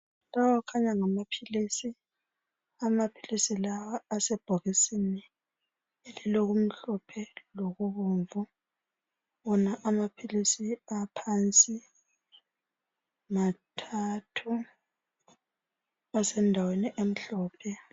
Lawa kukhanya ngamaphilisi. Amaphilisi lawa asebhokisini elilokumhlophe lokubomvu. Wona amaphilisi aphansi mathathu asendaweni emhlophe.